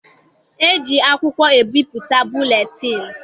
E ji akwụkwọ ebipụta buletịịnụ.